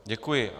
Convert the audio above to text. Děkuji.